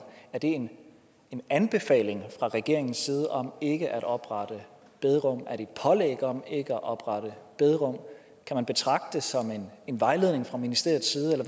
er det en anbefaling fra regeringens side om ikke at oprette bederum er det et pålæg om ikke at oprette bederum kan man betragte det som en vejledning fra ministeriets side eller